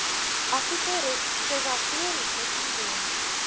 akute respiratoriese sindroom